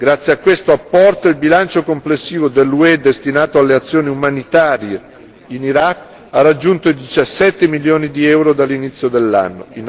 Grazie a questo apporto il bilancio complessivo dell'UE destinato alle azioni umanitarie in Iraq ha raggiunto i diciassette milioni di euro dall'inizio dell'anno.